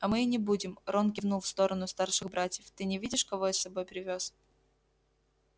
а мы и не будем рон кивнул в сторону старших братьев ты не видишь кого я с собой привёз